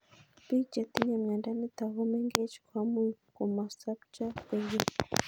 Piik che tinye miondo nitok ko meng'ech ko much ko masopcho koek keny